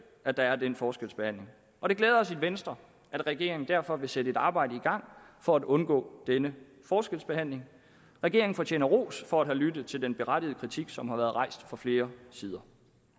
at der er den forskelsbehandling og det glæder os i venstre at regeringen derfor vil sætte et arbejde i gang for at undgå denne forskelsbehandling regeringen fortjener ros for at have lyttet til den berettigede kritik som har været rejst fra flere sider